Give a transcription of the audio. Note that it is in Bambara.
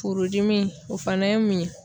Furudimi o fana ye mun ye